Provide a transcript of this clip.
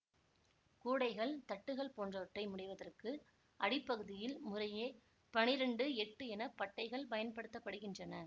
கூடைகள் தட்டுகள் போன்றவற்றை முடைவதற்கு அடிப்பகுதியில் முறையே பன்னிரண்டு எட்டு என பட்டைகள் பயன்படுத்த படுகின்றன